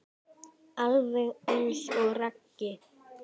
Alveg eins og Raggi.